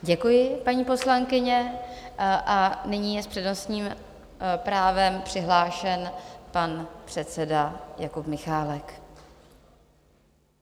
Děkuji, paní poslankyně, a nyní je s přednostním právem přihlášen pan předseda Jakub Michálek.